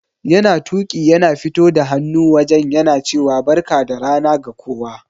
Yana Tuƙi yana fito da hannu wajen yana cewa Barka da rana ga kowa.